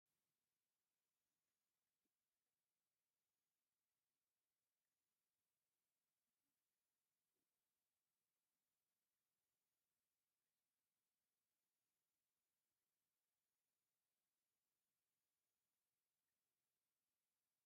ፋሽን ክባሃል ከሎ ናይ ክዳውንቲ ፋሽንን የካትት፡፡ እዚ መፅናዕታዊ ፅሑፍ ምስ ወዳእኹ ከምዚ ዝበለ ፋሽን ሽፈን ክኽደን እየ፡፡ ...እዋይ ደስ ክብል እዚ ሽፈን...